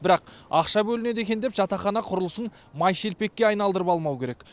бірақ ақша бөлінеді екен деп жатақхана құрылысын май шелпекке айналдырып алмау керек